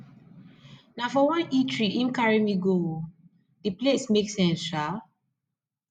na for one eatery im carry me go o di place make sense shaa